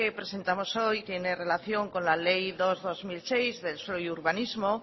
presentamos hoy tiene relación con la ley dos barra dos mil seis de suelo y urbanismo